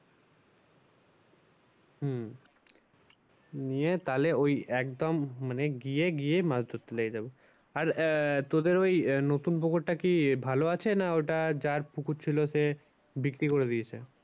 হম নিয়ে তাহলে ওই একদম মানে গিয়ে, গিয়ে মাছ ধরতে লেগে যাবো। আর আহ তোদের ওই নতুন পুকুরটা কি ভালো আছে? না ওটা যার পুকুর ছিল সে বিক্রি করে দিয়েছে?